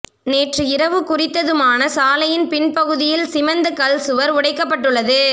நேற்று இரவு குறித்த துமானசாலையின் பின் பகுதியில் சீமெந்து கல் சுவர் உடைக்கப்ட்டுள்ளது